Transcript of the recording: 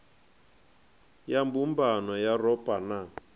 ya mbumbano ya yuropa na